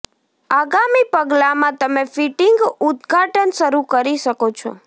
આગામી પગલામાં તમે ફિટિંગ ઉદઘાટન શરૂ કરી શકો છો